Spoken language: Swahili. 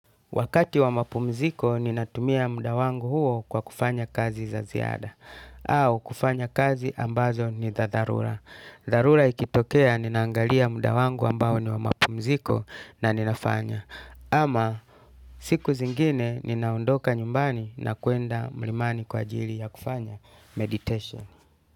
Wakati wa mapumziko, ninatumia mda wangu huo kwa kufanya kazi za ziada. Au kufanya kazi ambazo ni za dharula. Dharula ikitokea, ninaangalia mda wangu ambao ni wa mapumziko na ninafanya. Ama siku zingine, ninaondoka nyumbani na kwenda mlimani kwa jili ya kufanya meditation.